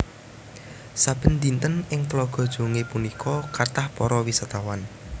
Saben dinten ing Tlaga Jongé punika kathah para wisatawan